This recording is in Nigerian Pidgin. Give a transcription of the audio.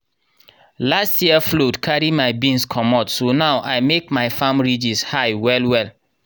last year flood carry my beans comot so now i make my farm ridges high well-well.